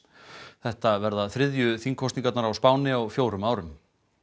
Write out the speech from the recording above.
þetta verða þriðju þingkosningarnar á Spáni á fjórum árum